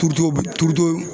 bi